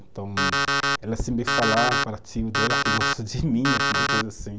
Então, ela sempre falava para o tio dela que gostou de mim, alguma coisa assim.